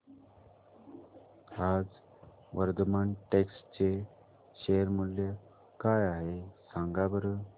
आज वर्धमान टेक्स्ट चे शेअर मूल्य काय आहे सांगा बरं